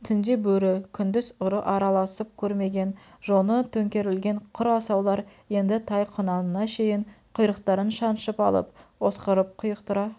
түңде бөрі күндіз ұры араласып көрмеген жоны төңкерілген құр асаулар енді тай-құнанына шейін құйрықтарын шаншып алып осқырып құйықтыра